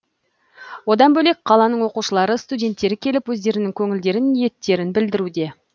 одан бөлек қаланың оқушылары студенттері келіп өздерінің көңілдерін ниеттерін білдіруде